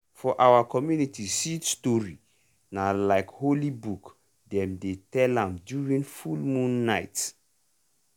for our community seed story na like holy book dem dey tell am during full moon night.